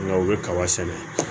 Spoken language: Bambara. Nka u bɛ kaba sɛnɛ